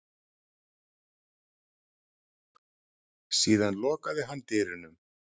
Síðan lokaði hann dyrunum.